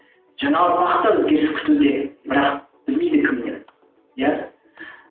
жаңа ұрпақ та өзгеріс күтуде бірақ білмейді кімнен иә